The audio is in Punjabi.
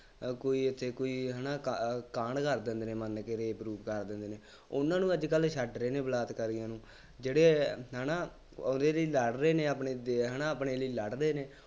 ਕੋਈ ਇੱਥੇ ਕੋਈ ਹੈ ਨਾ ਕਾ ਕਾਂਡ ਕਰਦਾ, ਮੰਨ ਕੇ rape , ਉਹਨਾ ਨੂੰ ਤਾ ਅੱਜ ਕੱਲ੍ਹ ਛੱਡ ਰਹੇ ਨੇ ਬਲਾਤਕਾਰੀਆਂ ਨੂੰ, ਜਿਹੜੇ ਹੈ ਨਾ, already ਲੜ ਰਹੇ ਨੇ ਆਪਣੇ ਦੇ ਹੈ ਨਾ ਆਪਣੇ ਲਈ ਲੜਦੇ ਨੇ,